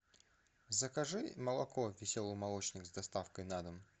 закажи молоко веселый молочник с доставкой на дом